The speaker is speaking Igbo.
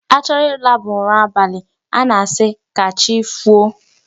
A chọrọ ịlaba ụra abalị a na-asị ka chi foo.